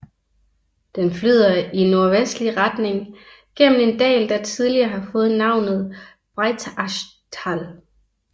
Den flyder i nordvestlig retning gennem en dal der tidligere har fået navnet Breitachtal